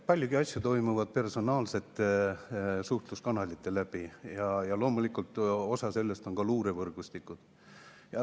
Paljud asjad toimuvad personaalsete suhtluskanalite kaudu ja loomulikult osa sellest on ka luurevõrgustikud.